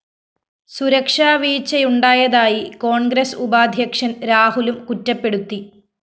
സുരക്ഷാ വീഴ്ചയുണ്ടായതായി കോണ്‍ഗ്രസ് ഉപാധ്യക്ഷന്‍ രാഹുലും കുറ്റപ്പെടുത്തി